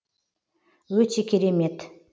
өте керемет